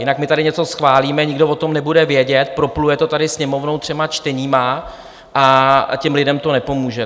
Jinak my tady něco schválíme, nikdo o tom nebude vědět, propluje to tady Sněmovnou třemi čteními a těm lidem to nepomůže.